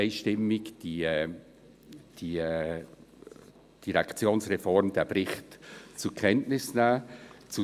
Deshalb: Die SVP wird die Direktionsreform und den Bericht einstimmig zur Kenntnis nehmen.